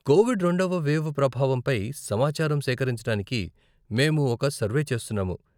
Covid రెండవ wave ప్రభావం పై సమాచారం సేకరించడానికి మేము ఒక సర్వే చేస్తున్నాము .